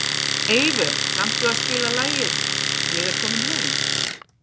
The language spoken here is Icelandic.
Eyvör, kanntu að spila lagið „Ég er kominn heim“?